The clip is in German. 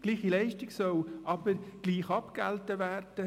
Gleiche Leistung soll aber gleich abgegolten werden.